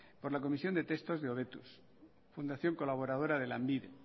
por la comisión de textos de hobetuz fundación colaboradora de lanbide